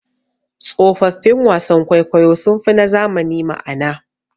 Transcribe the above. Tsofaffin wasan kwaikwayo sunfi na zamani ma'ana.